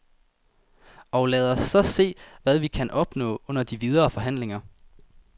Og lad os så se, hvad vi kan opnå under de videre forhandlinger.